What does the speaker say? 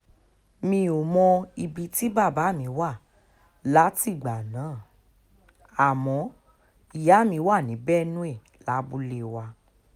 mi ò mọ ibi tí bàbá mi wà látìgbà náà àmọ́ ìyá mi wà ní benue lábúlé wa